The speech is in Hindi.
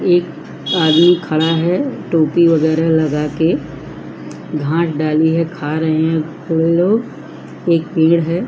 एक आदमी खड़ा है टोपी वगरह लगाके भात डाली है खा रहे हैं सभी लोग एक पेड़ है।